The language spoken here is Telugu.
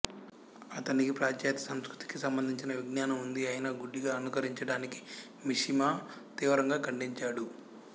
అతనికి పాశ్చాత్య సంస్కృతికి సంబంధించిన విజ్ఞానం ఉంది అయినా గుడ్డిగా అనుకరించటాన్ని మిషిమా తీవ్రంగా ఖండించాడు